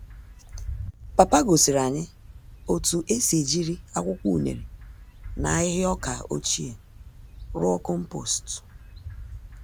Papa gosiri anyị otú esi ejiri akwụkwọ unere na ahịhịa ọkà ochie, rụọ kompost